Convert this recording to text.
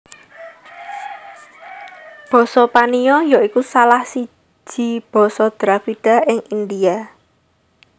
Basa Paniya ya iku salah siji basa Dravida ing India